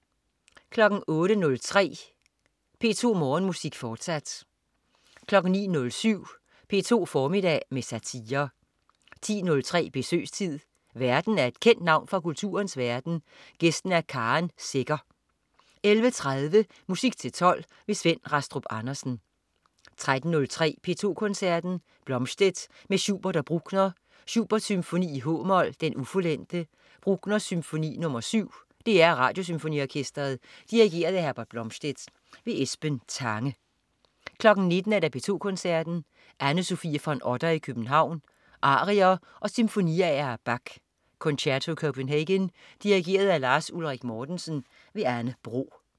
08.03 P2 Morgenmusik. Fortsat 09.07 P2 formiddag med satire 10.03 Besøgstid. Værten er et kendt navn fra kulturens verden, gæsten er Karen Secher 11.30 Musik til tolv. Svend Rastrup Andersen 13.03 P2 Koncerten. Blomstedt med Schubert og Bruckner. Schubert: Symfoni, h-mol, Den ufuldendte. Bruckner: Symfoni nr. 7. DR Radiosymfoniorkestret. Dirigent: Herbert Blomstedt. Esben Tange 19.00 P2 Koncerten. Anne Sofie von Otter i København. Arier og sinfoniaer af Bach. Concerto Copenhagen. Dirigent: Lars Ulrik Mortensen. Anne Bro